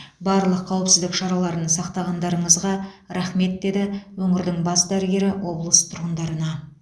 барлық қауіпсіздік шараларын сақтағандарыңызға рахмет деді өңірдің бас дәрігері облыс тұрғындарына